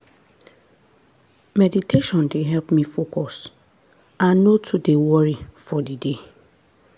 meditation dey help me focus and no too dey worry for the day.